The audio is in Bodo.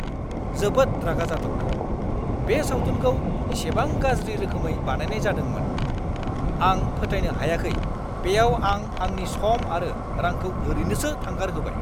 जोबोद रागा जाथावना, बे सावथुनखौ इसेबां गाज्रि रोखोमै बानायनाय जादोंमोन। आं फोथायनो हायाखै बेयाव आं आंनि सम आरो रांखौ ओरैनोसो थांगारहोबाय!